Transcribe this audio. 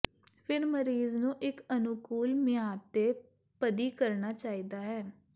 ਫਿਰ ਮਰੀਜ਼ ਨੂੰ ਇੱਕ ਅਨੁਕੂਲ ਮਿਆਦ ਦੇ ਪਦੀ ਕਰਨਾ ਚਾਹੀਦਾ ਹੈ